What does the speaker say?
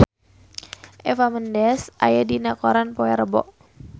Eva Mendes aya dina koran poe Rebo